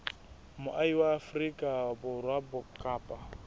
moahi wa afrika borwa kapa